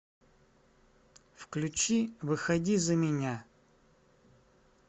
включи выходи за меня